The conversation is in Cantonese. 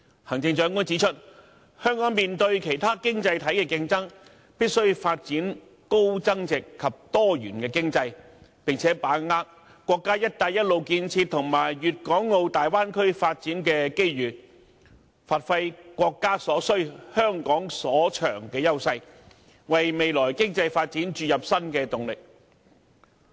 行政長官指出香港面對其他經濟體的競爭，必須發展高增值及多元經濟，並把握國家"一帶一路"建設和粵港澳大灣區發展的機遇，發揮"國家所需，香港所長"的優勢，為未來經濟發展注入新的動力。